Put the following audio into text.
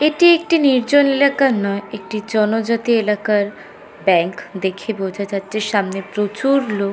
এটি একটি নির্জন এলাকা নয় একটি জনজাতি এলাকার ব্যাগ দেখে বোঝা যাচ্ছে সামনে প্রচুর লোক--